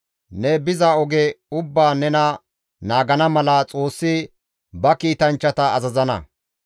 Ne biza oge ubbaan nena naagana mala Xoossi ba kiitanchchata azazana.